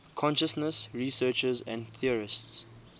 consciousness researchers and theorists